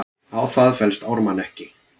Á það fellst Ármann ekki.